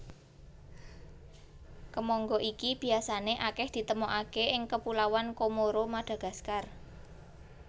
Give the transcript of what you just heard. Kemangga iki biasané akèh ditemokaké ing Kepulauan Komoro Madagaskar